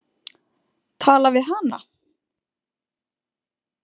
Tala við hana?